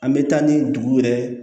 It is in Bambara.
An bɛ taa ni dugu yɛrɛ